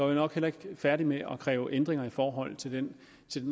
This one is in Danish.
var nok heller ikke færdige med at kræve ændringer i forhold til den